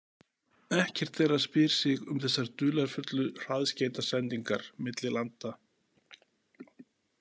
Ekkert þeirra spyr sig um þessar dularfullu hraðskeytasendingar milli landa.